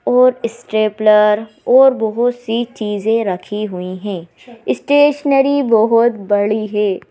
और स्ट्रेपलर और बहुत सी चीजें रखी हुई हैं स्टेशनरी बहुत बड़ी है।